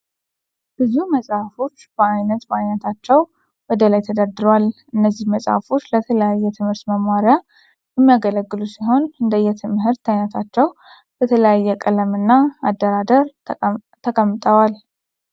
ብዙ መጽሃፎች በአይነት በአይነታቸው ወደ ላይ ተደርድረዋል። እነዚህ መጽሃፎች ለተለያየ ትምህርት መማሪያ የሚያገለግሉ ሲሆን እንደየ ትምህርት አይነታቸው በተለያየ ቀለም እና አደራደር ተቀጠዋል።